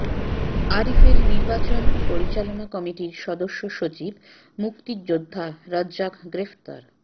আরিফের নির্বাচন পরিচালনা কমিটির সদস্য সচিব মুক্তিযোদ্ধা রাজ্জাক গ্রেফতার